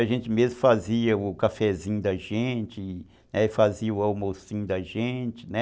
A gente mesmo fazia o cafezinho da gente, né, fazia o almocinho da gente, né?